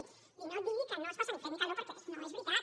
vull dir no digui que no es passa ni fred ni calor perquè no és veritat